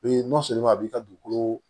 a b'i ka dugukolo